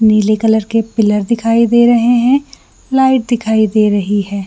निले कलर के पिलर दिखाई दे रहे है लाइट दिखाई दे रही हैं।